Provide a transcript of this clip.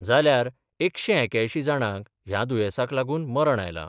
जाल्यार एकशे एक्यांयशी जाणांक ह्या दुयेंसाक लागून मरण आयलां.